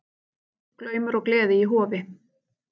Glaumur og gleði í Hofi